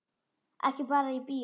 Ekki bara í bíó.